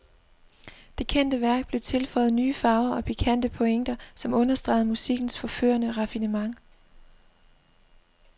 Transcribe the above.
Det kendte værk blev tilføjet nye farver og pikante pointer, som understregede musikkens forførende raffinement.